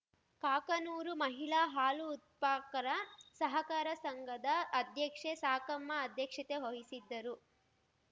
ಕಾಕನೂರು ಮಹಿಳಾ ಹಾಲು ಉತ್ಫಾಕರ ಸಹಕಾರ ಸಂಘದ ಅಧ್ಯಕ್ಷೆ ಸಾಕಮ್ಮ ಅಧ್ಯಕ್ಷತೆ ವಹಿಸಿದ್ದರು